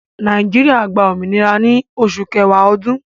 Nàìjíríà gbà òmìnira ní Òṣù Kẹ̀wà Òdún